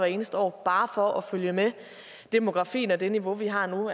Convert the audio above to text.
eneste år bare for at følge med demografien og det niveau vi har nu